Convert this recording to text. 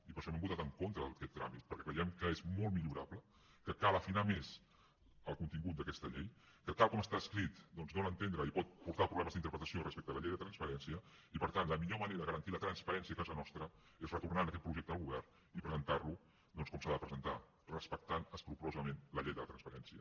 i per això hem votat en contra d’aquest tràmit perquè creiem que és molt millorable que cal afinar més el contingut d’aquesta llei que tal com està escrit doncs dóna a entendre i pot portar problemes d’interpretació respecte a la llei de transparència i per tant la millor manera de garantir la transparència a casa nostra és retornant aquest projecte al govern i presentar lo com s’ha de presentar respectant escrupolosament la llei de transparència